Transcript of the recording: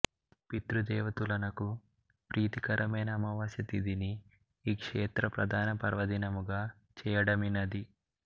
పిత్రు దేవతలనకు ప్రీతి కరమైన ఆమావాస్య తిధిని ఈ క్షేత్ర ప్రధాన పర్వదినముగా చేయడమినది